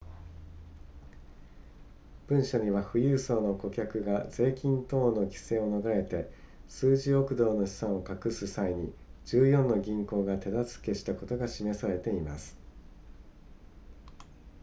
文書には富裕層の顧客が税金等の規制を逃れて数十億ドルの資産を隠す際に14の銀行が手助けしたことが示されています